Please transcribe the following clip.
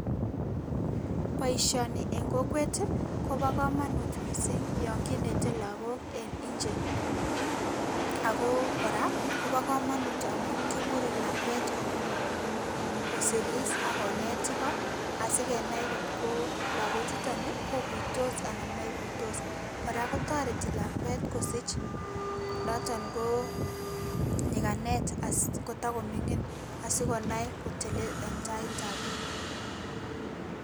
Boishoni en kokwet kobo komonut missing yon kinete lokok en nje, akoo kora kobo komonut amun kikure lakwet ko nyoko siris ak konet ikoo asi kenai kotko logo chutonii kokuitos anan moikuitos kora kotoreti kosich noton koo nyikanet koto komingin asi konai kotelel en tait ab biik